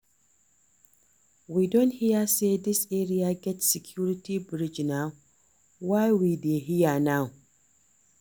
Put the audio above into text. We don hear say dis area get security bridge na why we dey here now